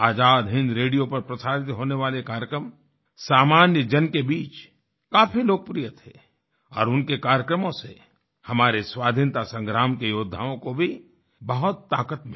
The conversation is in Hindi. आजाद हिन्द रेडियो पर प्रसारित होने वाले कार्यक्रम सामान्य जन के बीच काफी लोकप्रिय थे और उनके कार्यक्रमों से हमारे स्वाधीनता संग्राम के योद्धाओं को भी बहुत ताकत मिली